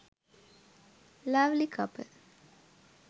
lovely couple